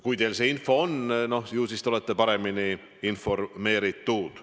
Kui teil on selline info, no ju siis te olete paremini informeeritud.